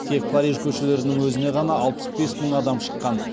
тек париж көшелерінің өзіне ғана алпыс бес мың адам шыққан